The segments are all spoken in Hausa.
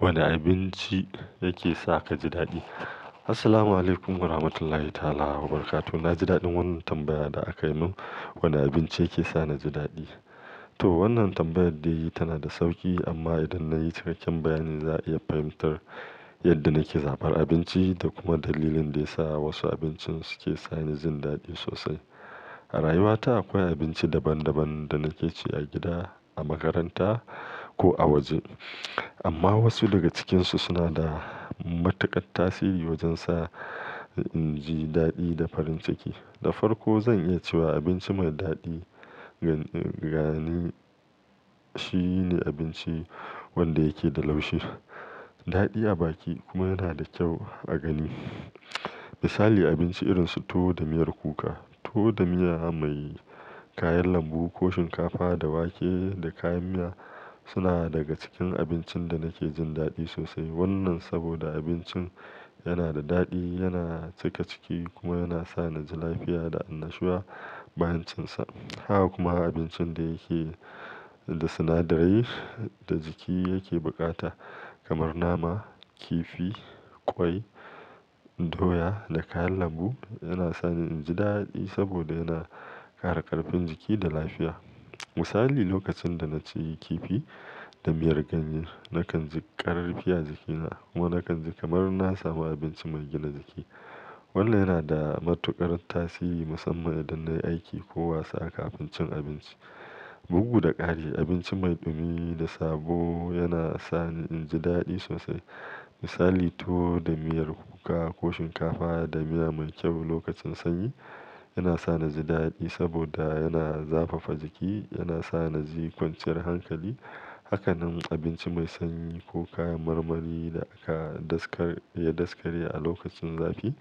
Wanne abinci yake sa ka ji daɗi? Assalamualaikum warahmatullahi ta'ala wabarakatuh. Na ji daɗin wannan tambaya da akai min. Wane abinci yake sa na ji daɗi? To, wannan tambayar da yayi tana da sauki amma idan na yi cikakken bayani, za a iya fahimtar yadda nake zaɓar abinci da kuma dalilin da ya sa wasu abincin suke sa ni jin daɗi sosai. A rayuwata akwai abinci daban-daban da nake ci a gida, a makaranta ko a waje. Amma wasu daga cikinsu suna da matuƙar tasiri wajen sa in ji daɗi da farin ciki. Da farko zan iya cewa abinci mai daɗi gani shine abinci wanda yake da laushi, daɗi a baki kuma yana da kyau a gani. Misali abinci irin su tuwo da miyar kuka, tuwo da miya mai. Kayan lambu ko shinkafa da wake da kayan miya suna daga cikin abincin da nake jin daɗi sosai. Wannan saboda abincin yana da daɗi, yana cika ciki kuma yana sa na ji lafiya da annashuwa bayan cin sa. Haka kuma abincin da yake da sjnadarai da jiki yake buƙata kamar nama, kifi, ƙwai, doya da kayan lambu yana sa ni in ji daɗi saboda yana ƙara ƙarfin jiki da lafiya. Misali lokacin da na ci kifi da miyar ganye nakan ji ƙarfi a jikina kuma nakan ji kamar na samu abinci mai gina jiki. Wannan yana da matuƙar tasiri musamman idan na yi aiki ko wasa kafin cin abinci. Bugu da ƙari abinci mai ɗumi da sabo yana sa ni in ji daɗi sosai. Misali tuwo da miyar kuka ko shinkafa da miya mai kyau lokacin sanyi yana sa ni ji daɗi saboda yana zafafa jiki, yana sa na ji kwanciyar hankali. Haka nan abinci mai sanyi ko kayan marmari da aka daskar, ya daskare a lokacin zafi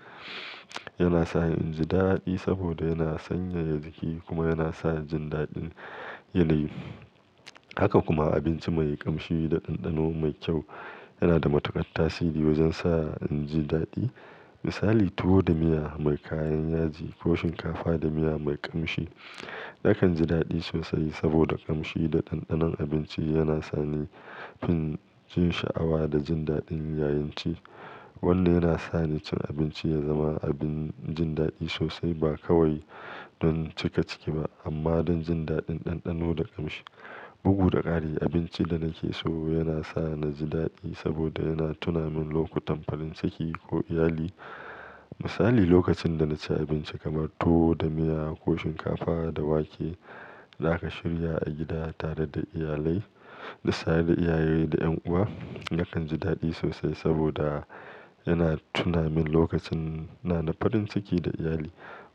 yana sa ni in ji daɗi saboda yana sanyaya jiki kuma yana sa jin daɗin yanayi. Haka kuma abinci mai ƙamshi da ɗanɗano mai kyau yana da matuƙar tasiri wajen sa in ji daɗi. Misali tuwo da miya mai kayan yaji ko shinkafa da miya mai ƙamshi nakan ji daɗi sosai saboda ƙamshi da ɗanɗanon abinci yana sa ni fin jin sha'awa da jin daɗin yayin ci. Wannan yana sa ni cin abinci ya zama abin jin daɗi sosai ba kawai don cika ciki ba amma don jin daɗin ɗanɗano da ƙamshi. Bugu da ƙari abinci da nake so yana sa na ni ji daɗi saboda yana tuna min lokutan farin ciki ko iyali. Misali lokacin da na ci abinci kamar tuwo da miya ko shinkafa da wake da aka shirya a gida tare da iyalai, da saye da iyaye da ƴan uwa nakan ji daɗi sosai saboda yana tuna min lokacin ina da farin ciki da iyali.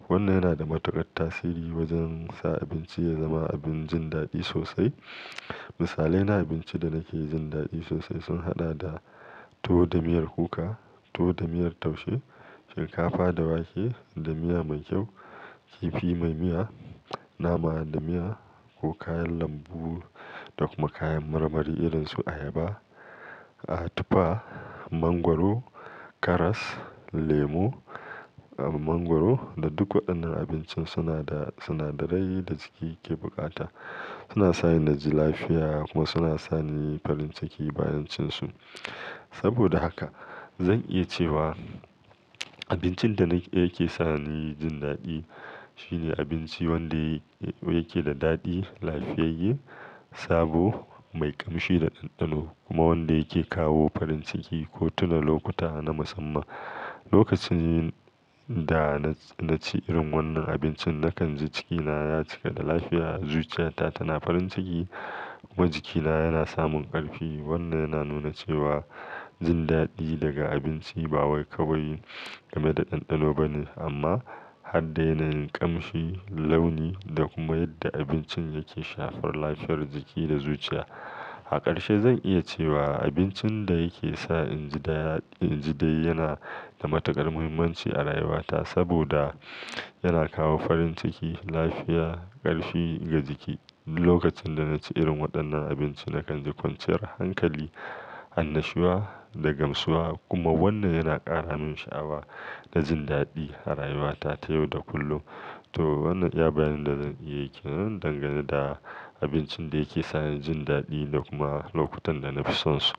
Wannan yana da matuƙar tasiri wajen sa abinci ya zama abin jin daɗi sosai. Misalai na abinci da nake jin daɗi sosai sun haɗa da tuwo da miyar kuka, tuwo da miyar taushe, shinkafa da wake da miya mai kyau, kifi mai miya, nama da miya ko kayan lambu. Da kuma kayan marmari irin su ayaba, a tufa, mangwaro, karas, lemu, mangwaro da duk waɗannan abinci. Suna da sunadarai da jiki ke buƙata. Suna sa ni na ji lafiya kuma suna sa ni farin ciki bayan cin su. Saboda haka zan iya cewa abincin da yake sa ni jin daɗi shine abinci wanda yake da daɗi, lafiyayye, sabo, mai ƙamshi da ɗanɗano kuma wanda yake kawo farin ciki ko tuna lokuta na musamman. Lokacin da na ci irin wannan abincin nakan ji cikina ya cika da lafiya, zuciyata tana farin ciki kuma jikina yana samun ƙarfi. Wannan yana nuna cewa jin daɗi daga abinci ba wai kawai game da ɗanɗano ba ne amma har da yanayin ƙamshi, launi da kuma yadda abincin yake shafar lafiyar jiki da zuciya. A ƙarshe zan iya cewa abincin da yake sa in ji daɗi yana da matuƙar muhimmanci a rayuwata saboda yana kawo farin ciki, lafiya, ƙarfi ga jiki. Lokacin da na ci irin waɗannan abinci nakan ji kwanciyar hankali, annashuwa da gamsuwa kuma wannan yana ƙara min sha'awa da jin daɗi a rayuwata ta yau da kullum. To, wannan iya bayanin da zan iya yi ke nan dangane da abincin da yake sa ni jin daɗi da kuma lokutan da na fi son su.